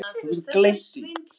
Mér kemur það varla við.